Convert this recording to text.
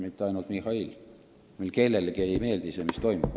Mitte ainult Mihhailile, meile kellelegi ei meeldi see, mis toimub.